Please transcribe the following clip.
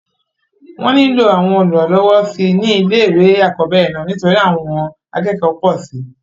wọ́n nílò àwọn olùrànlọwọ síi ní ilé ìwé àkọ́bẹ̀rẹ̀ náà nítorí àwọn akẹ́kọ̀ọ́ pọ̀ síi